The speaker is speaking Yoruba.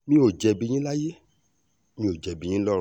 mi ò jẹ̀bi yín láyé mi ò jẹ̀bi yín lọ́rùn